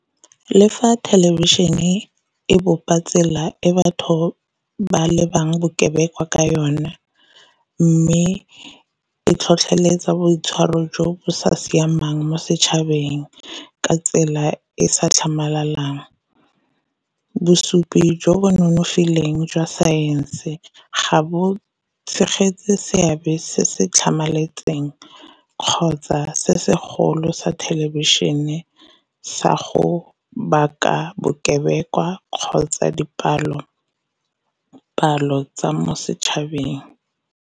Le fa thelebišhene e bopa tsela e batho ba lebang bokebekwa ka yona, mme e tlhotlheletsa boitshwaro jo bo sa siamang mo setšhabeng ka tsela e sa tlhamalang. Bosupi jo bo nonofileng jwa saense ga bo tshegetse seabe se se tlhamaletseng kgotsa se segolo sa thelebišhene sa go baka bokebekwa kgotsa dipalo-palo tsa mo setšhabeng.